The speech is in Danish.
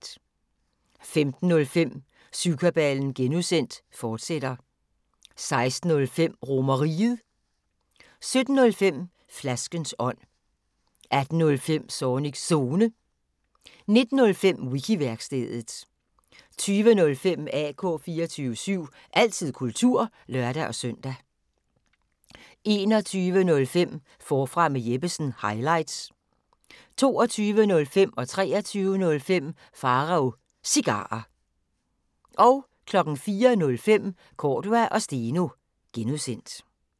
15:05: Syvkabalen (G), fortsat 16:05: RomerRiget 17:05: Flaskens ånd 18:05: Zornigs Zone 19:05: Wiki-værkstedet 20:05: AK 24syv – altid kultur (lør-søn) 21:05: Forfra med Jeppesen – highlights 22:05: Pharaos Cigarer 23:05: Pharaos Cigarer 04:05: Cordua & Steno (G)